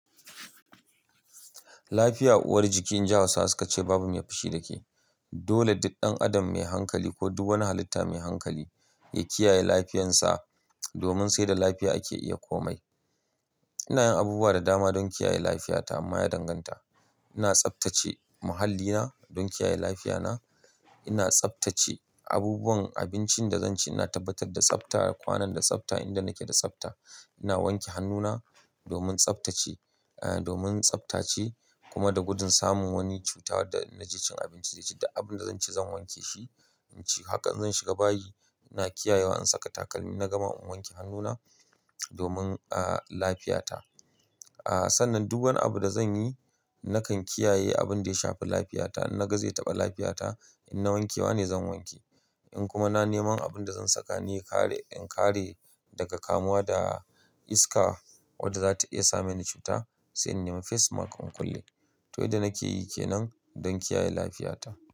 Lafiya uwar jiki, in ji Hausawa suka ce babu mai fushi da ke. Dole duk ɗan adam mai hankali ko duk wani halitta mai hankali ya kiyaye lafiyansa, domin sai da lafiya ake iya komai. Ina yin abubuwa da dama don kiyaye lafiyata amma ya danganta. Ina tsaftace muhallina don kiyaye lafiyana. Ina tsaftace abubuwan abincin da zan ci. Ina tabbatar da tsafta, kwanon da tsafta, inda nake da tsafta. Ina wanke hannuna domin tsaftace, domin tsaftace kuma da gudun samun wani cutar da naji cin abinci zai ci da abin da zan ci zan wanke shi. Haka zan shiga bayi. Ina kiyayewa, in saka takalmi na gama in wanke hannuna domin, ah, lafiyata, ah sannan duk wani abu da zan yi, nakan kiyaye abin da ya shafi lafiyata. Na ga zai taɓa lafiyata. In na wankewa ne zan wanke. In kuma na neman abin da zan saka ne in kare, in kare daga kamuwa da iska wadda za ta iya sama ni cuta, sai in nema face mask in kulle. To, yadda nake yi ke nan don kiyaye lafiyata.